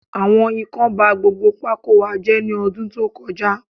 Àwọn Ikán ba gbogbo pákó wa jé ní ọdún tó kọ já